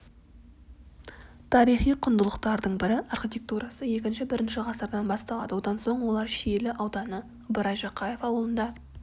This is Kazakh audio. тарихи құндылықтардың бірі архитектурасы іі-і ғасырдан басталады одан соң олар шиелі ауданы ыбырай жақаев аулында